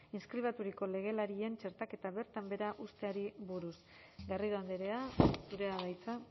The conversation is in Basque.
inskribaturiko legelarien txertaketa bertan behera uzteari buruz garrido andrea zurea da hitza